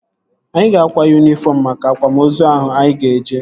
Anyị ga-akwa yunifọm maka akwamozu ahụ anyị ga-eje